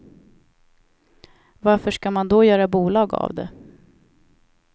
Varför ska man då göra bolag av det?